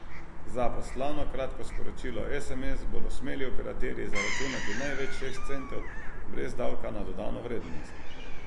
Za poslano kratko sporočilo sms bodo smeli operaterji zaračunati največ šest centov brez davka na dodano vrednost.